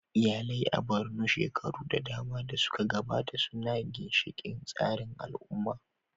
Iyalai a Borno, shekaru da dama da suka gabata, sune ginshiƙan tsarin al'umma